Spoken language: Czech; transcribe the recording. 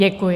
Děkuji.